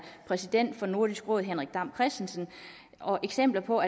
præsident for nordisk råd henrik dam kristensen eksempler på